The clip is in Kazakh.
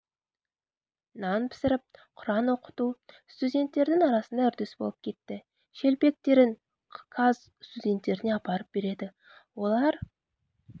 нан пісіріп құран оқыту студенттердің арасында үрдіс болып кетті шелпектерін каз студенттеріне апарып береді олар